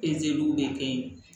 de kɛ ye